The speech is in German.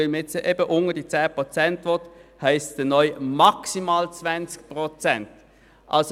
Weil man nun die 10 Prozent unterschreiten will, lautet die neue Formulierung «maximal 20 Prozent».